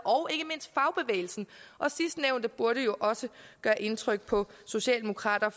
og sidstnævnte burde jo også gøre indtryk på socialdemokraterne